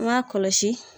An m'a kɔlɔsi